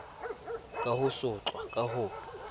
ka ho sotlwa ka ho